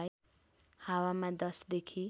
हावामा १० देखि